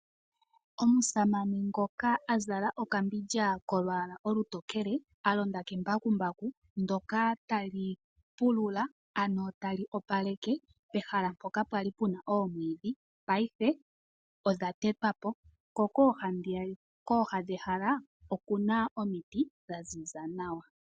Omusamane ngoka a azala okambindja kolwaala olutokele a londa ke mbakumbaku ndoka ta li pulula, ano ta li opaleka pehala mpoka pwali pu na omwiidhi paife odha tetwapo .ko kooha dhehala oku na omiti za ziza nawa.